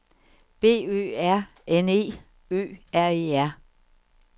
B Ø R N E Ø R E R